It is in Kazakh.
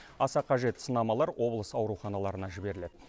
аса қажет сынамалар облыс ауруханаларына жіберіледі